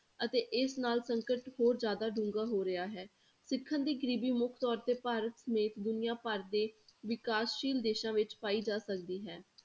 ਅਤੇ ਇਸ ਨਾਲ ਸੰਕਟ ਹੋਰ ਜ਼ਿਆਦਾ ਡੂੰਘਾ ਹੋ ਰਿਹਾ ਹੈ, ਸਿੱਖਣ ਦੀ ਗ਼ਰੀਬੀ ਮੁੱਖ ਤੌਰ ਤੇ ਭਾਰਤ ਸਮੇਤ ਦੁਨੀਆਂ ਭਰ ਦੇ ਵਿਕਾਸਸ਼ੀਲ ਦੇਸਾਂ ਵਿੱਚ ਪਾਈ ਜਾ ਸਕਦੀ ਹੈ।